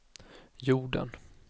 jorden